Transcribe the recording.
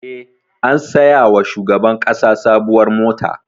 E, an saya wa shugaban ƙasa sabuwar mota.